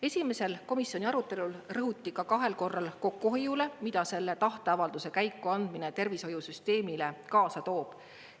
Esimesel komisjoni arutelul rõhuti ka kahel korral kokkuhoiule, mida selle tahteavalduse käikuandmine tervishoiusüsteemile kaasa toob.